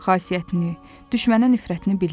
Xasiyyətini, düşmənə nifrətini bilirdi.